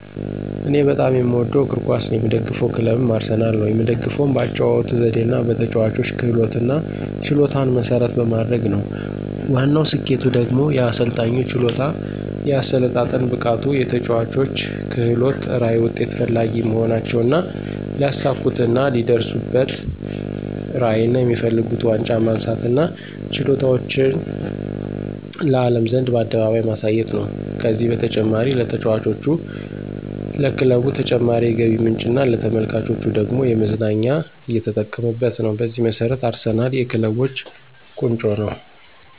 እኔ በጣም የምወደው እግር ኳስ ነው። የምደግፈው ክለብም አርሰናል ነው። የምደግፈውም በአጨዋወቱ ዘዴና በተጨዋቾች ክህሎትና ችሎታን መሰረት በማድረግ ነው። ዋናው ስኬቱ ደግሞ የአሰልጣኙ ችሎታ፣ የአሰለጣጠን ብቃቱ፣ የተጨዋቾች ክህሎት፣ ራዕይ፣ ውጤት ፈላጊ መሆናቸውና ሊያሳኩትና ሊደርሱበትራዕይና የሚፈልጉት ዋንጫ ማንሳትና ችሎታቸውን ለአለም ዘንድ በአደባባይ ማሳየት ነው። ከዚህም በተጨማሪ ለተጫዋቾች፣ ለክለቡ ተጨማሪ የገቢ ምንጭና ለተመልካቹ ደግሞ ለመዝናኛ እየተጠቀመበት ነው። በዚህ መሰረት አርሰናል የክለቦች ቆንጮ ነው